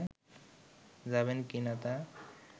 যাবেন কিনা তা